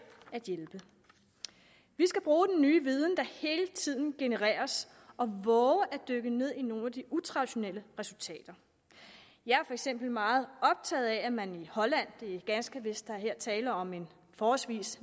at hjælpe vi skal bruge den nye viden der hele tiden genereres og vove at dykke ned i nogle af de utraditionelle resultater jeg er for eksempel meget optaget af at man i holland ganske vist er der her tale om en forholdsvis